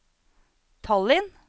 Tallinn